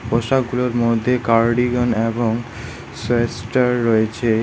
পোশাকগুলোর মধ্যে কার্ডিগান এবং সোয়েসটার রয়েচে।